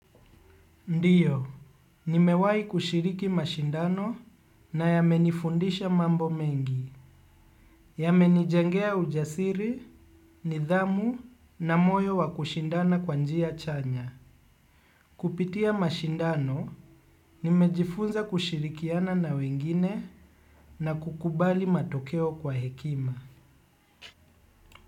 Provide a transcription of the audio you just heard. Ndiyo, nimewahi kushiriki mashindano na yamenifundisha mambo mengi. Yamenijengea ujasiri, nidhamu na moyo wa kushindana kwa njia chanya. Kupitia mashindano, nimejifunza kushirikiana na wengine na kukubali matokeo kwa hekima.